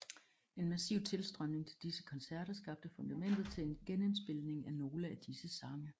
En massiv tilstrømning til disse koncerter skabte fundamentet til en genindspilning af nogle af disse sange